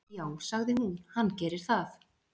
"""Já, sagði hún, hann gerir það."""